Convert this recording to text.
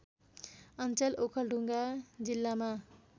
अञ्चल ओखलढुङ्गा जिल्लामा